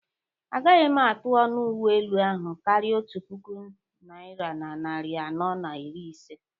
Agaghị m atụ ọnụ uwe elu ahụ karịa otu puku najta na narị anọ na iri ise